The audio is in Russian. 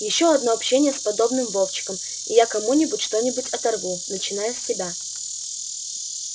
ещё одно общение с подобным вовчиком и я кому-нибудь что-нибудь оторву начиная с тебя